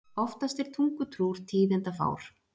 Oftast er tungutrúr tíðindafár.